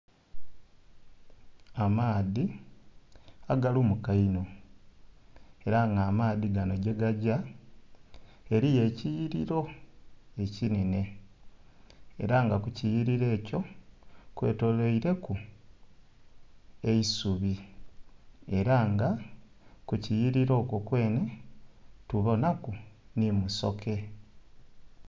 Amaadhi agalumuka inho era nga amaadhi gano gyegagya eriyo ekiyiririro ekinene era nga ku kyliyiririro ekyo kwetolwere ku eisubi era nga ku ekiyiririro okwo kwene tuboona ku ni musoke.